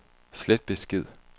slet besked